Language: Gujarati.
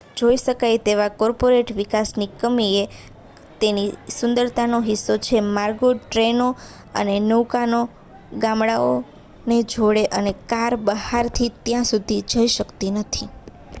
જોઈ શકાય તેવા કૉર્પોરેટ વિકાસની કમી એ તેની સુંદરતાનો હિસ્સો છે માર્ગો ટ્રેનો અને નૌકાઓ ગામડાંને જોડે છે અને કાર બહારથી ત્યાં સુધી જઈ શકતી નથી